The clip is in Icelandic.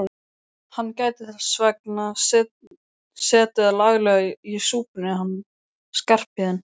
Hann gæti þess vegna setið laglega í súpunni hann Skarphéðinn.